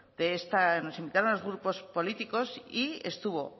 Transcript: nos invitaros a los grupos políticos y estuvo